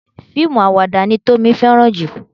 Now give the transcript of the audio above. Fíìmù àwàdà ni Tómi fẹ́ràn jù.